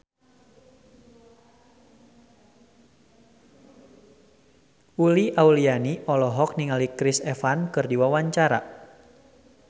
Uli Auliani olohok ningali Chris Evans keur diwawancara